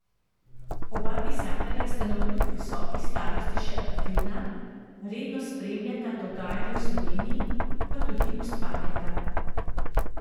Oba pisatelja sta navkljub visoki starosti še aktivna, redno spremljata dogajanje v Sloveniji, pa tudi ustvarjata.